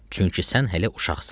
Çünki sən hələ uşaqsan.